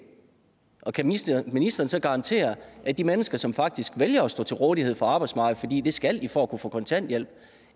kan ministeren så garantere at de mennesker som faktisk vælger at stå til rådighed for arbejdsmarkedet fordi det skal de for at kunne få kontanthjælp